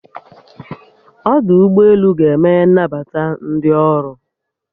Ọdụ ụgbọelu ga-emehe nnabata ndi ọrụ